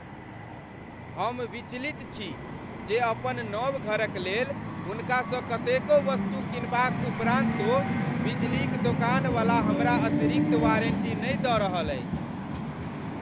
हम विचलित छी जे अपन नव घरक लेल हुनकासँ कतेको वस्तु कीनबाक उपरान्तो बिजली क दोकानवला हमरा अतिरिक्त वारण्टी नहि दऽ रहल अछि।